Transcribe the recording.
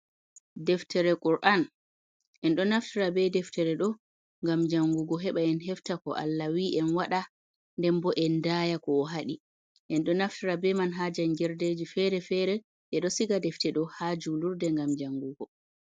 Deftere Qur'an, enɗon naftira be deftere ɗo ngam jangugo, heɓa en hefta ko Allah wi'en waɗa nden bo en daya ko o hadi, ɗo naftira be man ha jangirdeji feere-feere e ɗo siga defte ɗo ha julirde ngam jangugo.